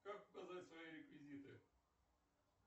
как указать свои реквизиты